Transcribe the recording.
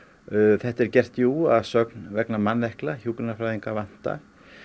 þetta er gert jú að sögn vegna manneklu hjúkrunarfræðinga vantar